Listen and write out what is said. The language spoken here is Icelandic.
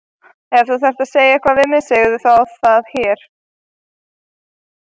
Ef þú þarft að segja eitthvað við mig segðu það þá hérna!